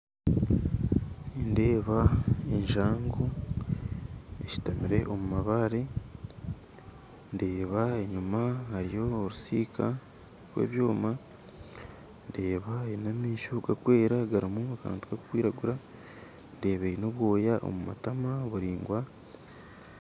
Nindeeba enjangu eshutamire omu mabare ndeeba enyuma hariyo orutsiika rw'ebyoma ndeeba eine amaisho garukwera harumu akantu karukwiragura ndeeba eine obwoya omu matama buraingwa